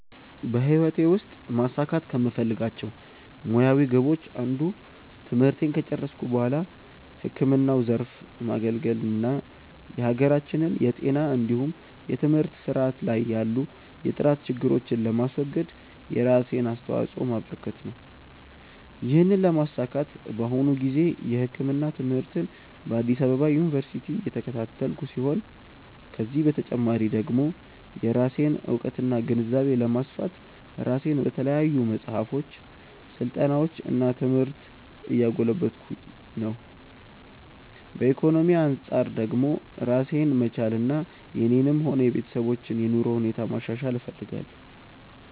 በህይወቴ ውስጥ ማሳካት ከምፈልጋቸው ሙያዊ ግቦች አንዱ ትምህርቴን ከጨረስኩ በኋላ ህክምናው ዘርፍ ማገልገል እና የሀገራችንን የጤና እንዲሁም የትምህርት ስርዓት ላይ ያሉ የጥራት ችግሮችን ለማስወገድ የራሴን አስተዋጾ ማበረከት ነው። ይህንን ለማሳካት በአሁኑ ጊዜ የህክምና ትምህርትን በአዲስ አበባ ዩኒቨርሲቲ እየተከታተልኩ ሲሆን ከዚህ በተጨማሪ ደግሞ የራሴን እውቀትና ግንዛቤ ለማስፋት ራሴን በተለያዩ መጽሐፎች፣ ስልጠናዎች እና ትምህርት እያጎለበትኩ ነው። ከኢኮኖሚ አንጻር ደግሞ ራሴን መቻልና የኔንም ሆነ የቤተሰቦችን የኑሮ ሁኔታ ማሻሻል እፈልጋለሁ።